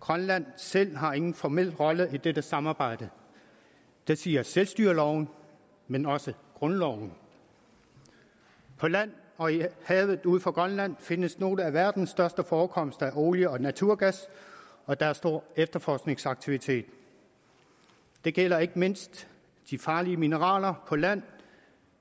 grønland selv har ingen formel rolle i dette samarbejde det siger selvstyreloven men også grundloven på land og i havet ud fra grønland findes nogle af verdens største forekomster af olie og naturgas og der er stor efterforskningsaktivitet det gælder ikke mindst de farlige mineraler på land